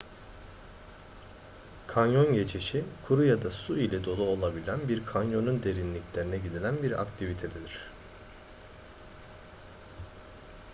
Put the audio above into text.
kanyon geçişi kuru ya da su ile dolu olabilen bir kanyonun derinliklerine gidilen bir aktivitedir